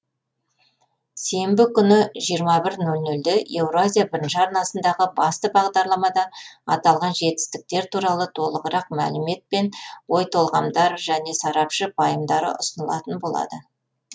сенбі күні живрма бір нөл нөлде еуразия бірінші арнасындағы басты бағдарламада аталған жетістіктер турасында толығырақ мәлімет пен ой толғамдар және сарапшы пайымдары ұсынылатын болады